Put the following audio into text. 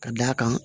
Ka d'a kan